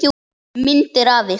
Myndir af ykkur.